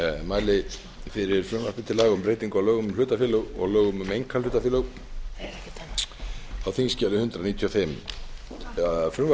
mæli fyrir frumvarpi til laga um breytingu á lögum um hlutafélög og lögum um einkahlutafélög á þingskjali hundrað níutíu og fimm frumvarp